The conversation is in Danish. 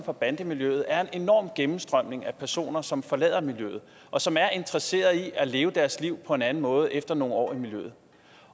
og bandemiljøet er en enorm gennemstrømning af personer som forlader miljøet og som er interesserede i at leve deres liv på en anden måde efter nogle år i miljøet